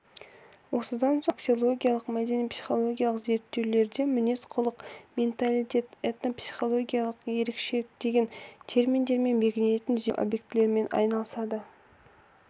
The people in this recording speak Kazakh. осыдан соң бұл аксиологиялық мәдени-психологиялық зерттеулерде мінез-құлық менталитет этнопсихологиялық ерекшелік деген терминдермен белгіленетін зерттеу объектілерімен айналысады